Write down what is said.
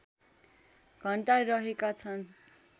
घण्टा रहेका छन्